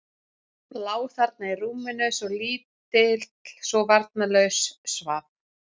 Lá þarna í rúminu, svo lítill, svo varnarlaus, svaf.